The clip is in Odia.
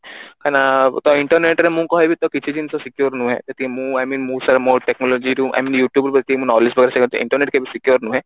କାହିଁ କି ନା internet ରେ ମୁଁ କହିବି ତ କିଛି ଜିନିଷ secure ନୁହେଁ ସେତିକି ମୁଁ I mean ମୁଁ ସହ ମୋ technology ରୁ I mean you tube ରୁ ବାକି knowledge internet କେବେ secure ନୁହେଁ